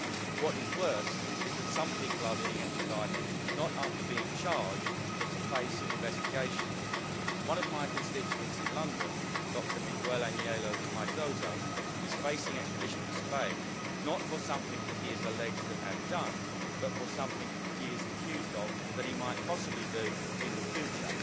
What is worse is that some people are being extradited, not after being charged, but to face investigation. One of my constituents in London, Dr Miguel Ángel Meizoso, is facing extradition to Spain, not for something that he is alleged to have done, but for something he is accused of that he might possibly do in the future.